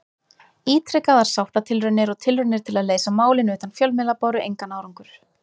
Ítrekaðar sáttatilraunir og tilraunir til að leysa málin utan fjölmiðla báru engan árangur.